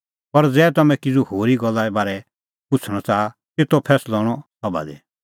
पर ज़ै तम्हैं किज़ू होरी गल्ले बारै च़ाहा पुछ़णअ ता तेतो फैंसलअ हणअ सभा दी